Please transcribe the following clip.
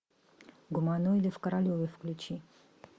гуманоиды в королеве включи